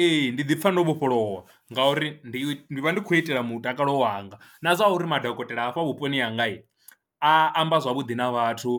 Ee, ndi ḓipfha ndo vhofholowa ngauri ndi vha ndi khou itela mutakalo wanga na zwa uri madokotela a hafha vhuponi hanga a amba zwavhuḓi na vhathu